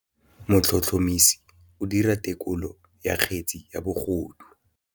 Motlhotlhomisi o dira têkolô ya kgetse ya bogodu.